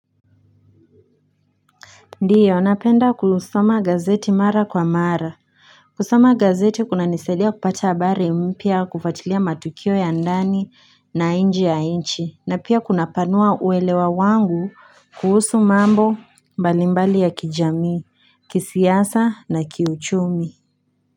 Ndiyo napenda kusoma gazeti mara kwa mara. Kusoma gazeti kunanisaidia kupata habari mpya kufuatilia matukio ya ndani na nje ya nchi. Na pia kunapanua uelewa wangu kuhusu mambo mbalimbali ya kijamii, kisiasa na kiuchumi.